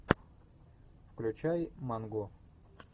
включай манго